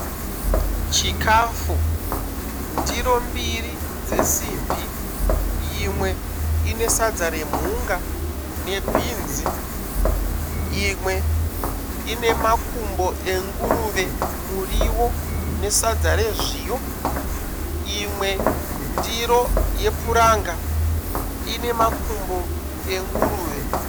Chikafu, ndiro mbiri dzesimbi, yimwe ine sadza remhunga nebhinzi, imwe ine makumbo enguruve, muriwo nesadza rezviyo, imwe ndiro yepuranga ine makumbo enguruve.